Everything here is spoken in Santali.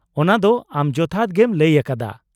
-ᱚᱱᱟᱫᱚ, ᱟᱢ ᱡᱚᱛᱷᱟᱛ ᱜᱮᱢ ᱞᱟᱹᱭ ᱟᱠᱟᱫᱟ ᱾